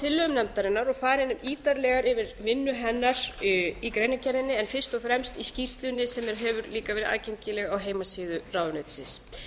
á tillögum nefndarinnar og farið er ítarlega yfir vinnu hennar í greinargerðinni en fyrst og fremst í skýrslunni sem hefur líka verið aðgengileg á heimasíðu ráðuneytisins